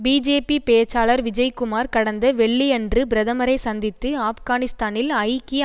BJP பேச்சாளர் விஜய்குமார் கடந்த வெள்ளி அன்று பிரதமரை சந்தித்து ஆப்கானிஸ்தானில் ஐக்கிய